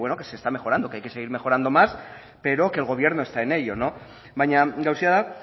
que se está mejorando que hay que seguir mejorando más pero que el gobierno está en ello baina gauza da